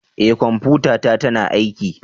Eh kwamfutata tana aiki